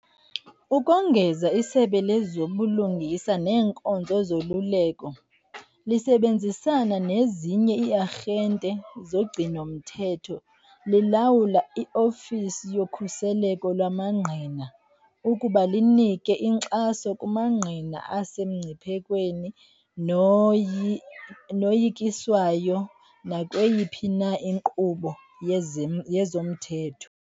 Ukongeza, iSebe lezoBulungisa neeNkonzo zoLuleko, lisebenzisana nezinye ii-arhente zogcino-mthetho, lilawula i-Ofisi yoKhuseleko lwamaNgqina ukuba linike inkxaso kumangqina asemngciphekweni noyikiswayo nakweyiphi na inkqubo yezomthetho.